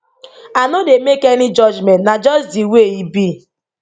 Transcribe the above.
i no dey make any judgement na just di way e be